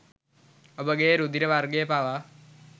ඔබගේ රුධිර වර්ගය පවා